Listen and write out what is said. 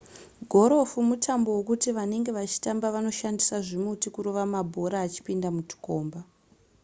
gorofu mutambo wekuti vanenge vachitamba vanoshandisa zvimuti kurova mabhora achipinda mutukomba